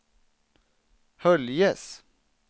Höljes